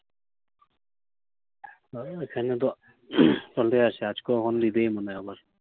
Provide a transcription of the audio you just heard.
আহ এখানে তো মনে হয় আবার